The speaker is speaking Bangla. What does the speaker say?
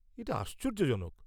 এটা আশ্চর্যজনক!